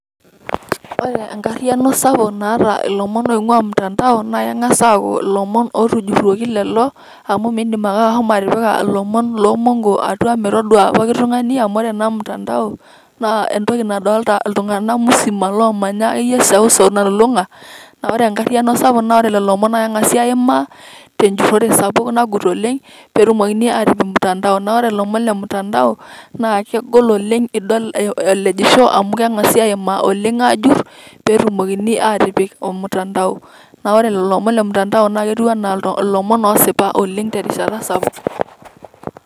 Ore enkariano sapuk naata irlomon oing'waa matandao naa naa eng'as aaku lomon ootujuroki lelo amu miindimake ashomo atipika lomon loo m'mongo atuaa metoduaa pooki tungani amu ore ana mtandao naa entoki nadolita ltungana musima loomanya akeiye eseuseu nalulung'a ,naa ore enkariano sapuk naa ore lelo omon naa keng'asi aimaa tenjutore sapuk najuut oleng peetumokini aaatipik mtandao naa ore lomon le mtandao naa kegol oleng idsl elejisho amu aimaa oleng aaajurr peetumoki aatipik ormutandao, naa ore lelo omon le mtandao naa ketiunaa lomon oosipa oleng terishata sapuk.